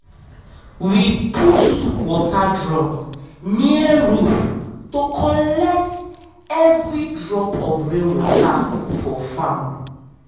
we put water drums near roof to collect every drop of rain water for farm.